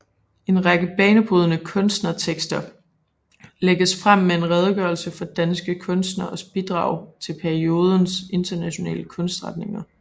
En række banebrydende kunstnertekster lægges frem med en redegørelse for danske kunstneres bidrag til periodens internationale kunstretninger